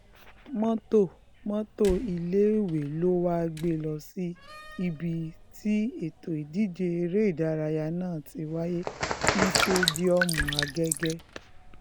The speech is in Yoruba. mọ́tò mọ́tò iléèwé ló wáá gbé e lọ sí ibi tí ètò ìdíje eré ìdárayá náà ti wáyé ní sẹ́díọ̀mù àgẹ́gẹ́